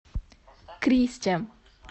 кристя